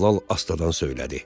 Dəllal astadan söylədi.